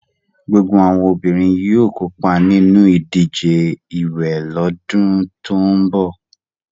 Gbogbo àwọn obìnrin yóò kópa nínú ìdíje ìwẹ̀ lọ́dún tó ń bọ̀.